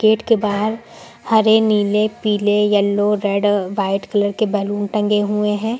Gate के बाहर हरे नीले पीले येलो रेड व्हाइट कलर के बैलून टंगे हुए हैं।